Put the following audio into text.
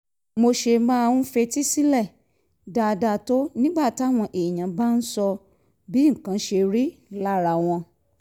mo ṣe máa ń fetí sílẹ̀ dáadáa tó nígbà táwọn èèyàn bá ń sọ bí nǹkan ṣe rí lára wọn